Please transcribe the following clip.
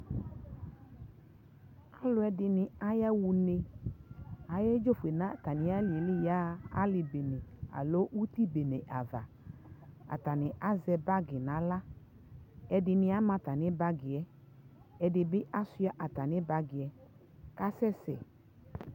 alʋɛdini aya ɔnɛ ayɛ dzɔfuɛ nʋ atani aliɛ li yaha ali bɛnɛ alɔ ʋti bɛnɛ aɣa atani azɛ bagi nʋ ala ɛdini ama atami bagiɛ, ɛdibi asua atami bagiɛ kʋ asɛsɛ